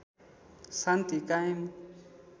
शान्ति कायम